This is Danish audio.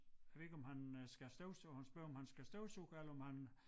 Jeg ved ikke om han øh skal støvsuge han spørger om han skal støvsuge eller om han